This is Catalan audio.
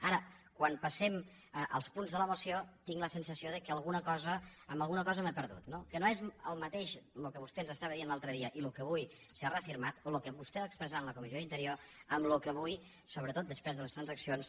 ara quan passem als punts de la moció tinc la sensació que en alguna cosa m’he perdut no que no és el mateix el que vostè ens deia l’altre dia i el que avui s’ha reafirmat o el que vostè va expressar en la comissió d’interior i el que avui sobretot després de les transaccions